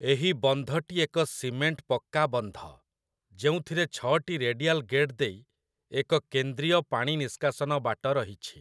ଏହି ବନ୍ଧଟି ଏକ ସିମେଣ୍ଟ ପକ୍କା ବନ୍ଧ, ଯେଉଁଥିରେ ଛଅଟି ରେଡ଼ିଆଲ ଗେଟ୍ ଦେଇ ଏକ କେନ୍ଦ୍ରୀୟ ପାଣି ନିଷ୍କାସନ ବାଟ ରହିଛି ।